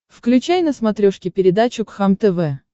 включай на смотрешке передачу кхлм тв